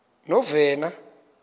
novena